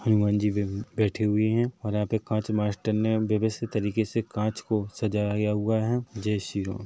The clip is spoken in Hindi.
हनुमान जी बैठे हुए हैं और यहाँ पे कांच मास्टर ने बहुत बढ़िया तरीके से कांच को सजाया हुआ है जय श्रीराम।